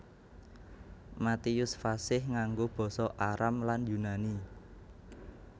Matius fasih nganggo basa Aram lan Yunani